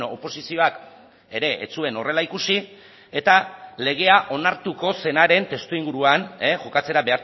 oposizioak ere ez zuen horrela ikusi eta legea onartuko zenaren testuinguruan jokatzera